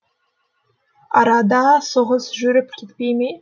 арада соғыс жүріп кетпей ме